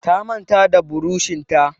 Ta manta da burushin ta.